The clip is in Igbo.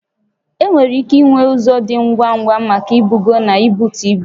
Enwere ike inwe ụzọ dị ngwa ngwa maka ibugo na ibutu ibu